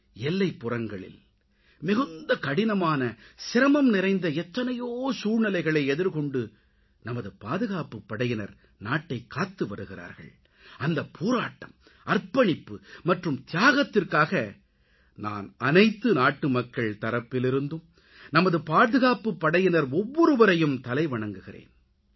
எல்லைப்புறங்களில் மிகுந்த கடினமான சிரமம் நிறைந்த எத்தனையோ சூழ்நிலைகளை எதிர்கொண்டு நமது பாதுகாப்புப் படையினர் நாட்டைக் காத்துவருகிறார்கள் அந்தப் போராட்டம் அர்ப்பணிப்பு மற்றும் தியாகத்திற்காக நான் அனைத்து நாட்டுமக்கள் தரப்பிலிருந்தும் நமது பாதுகாப்புப்படையினர் ஒவ்வொருவரையும் தலைவணங்குகிறேன்